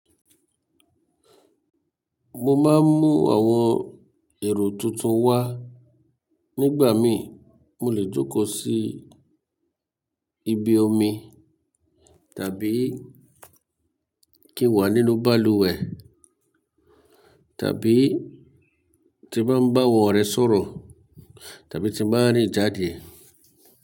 Mo má ń mú àwọn èrò tuntun wá. Nígbà mí mo lè jókòó sí ibi omi tàbí kí n wà nínú balùwẹ̀ tàbí tí n báa n bá awọn ọrẹ sọ̀rọ̀ tàbí tí báa n rín jáde.